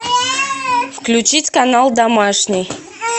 включить канал домашний